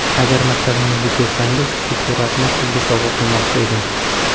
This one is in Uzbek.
Agar maktabimizga kelsangiz, shu suratni Sizga sovg‘a qilmoqchi edim”.